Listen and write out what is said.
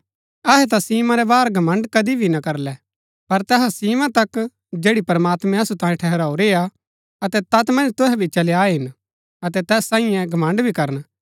अहै ता सीमा रै बाहर घमण्ड़ कदी भी ना करलै पर तैहा सीमा तक जैड़ी प्रमात्मैं असु तांयें ठहराऊरी हा अतै तैत मन्ज तुहै भी चली आये हिन अतै तैस सांईये घमण्ड़ भी करन